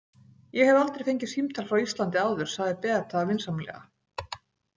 Ég hef aldrei fengið símtal frá Íslandi áður, sagði Beata vinsamlega.